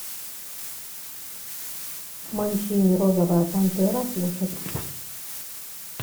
манчини розовая пантера слушать